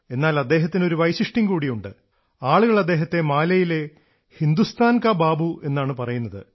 എന്നാൽ അദ്ദേഹത്തിന് ഒരു വൈശിഷ്ട്യം കൂടിയുണ്ട് ആളുകൾ അദ്ദേഹത്തെ മാലിയിലെ ഹിന്ദുസ്ഥാൻ കാ ബാബൂ എന്നാണ് പറയുന്നത്